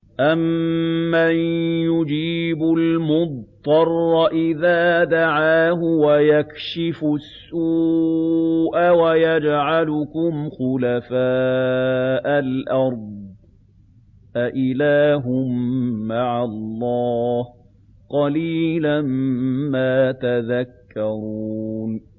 أَمَّن يُجِيبُ الْمُضْطَرَّ إِذَا دَعَاهُ وَيَكْشِفُ السُّوءَ وَيَجْعَلُكُمْ خُلَفَاءَ الْأَرْضِ ۗ أَإِلَٰهٌ مَّعَ اللَّهِ ۚ قَلِيلًا مَّا تَذَكَّرُونَ